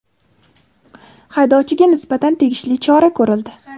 haydovchiga nisbatan tegishli chora ko‘rildi.